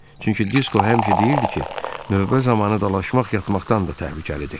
Çünki Disko həmişə deyirdi ki, növbə zamanı dalaşmaq yatmaqdan da təhlükəlidir.